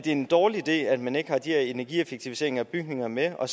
en dårlig idé at man ikke har de her energieffektiviseringer af bygninger med og